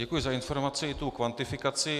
Děkuji za informaci i tu kvantifikaci.